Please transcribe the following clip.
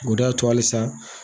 O de y'a to halisa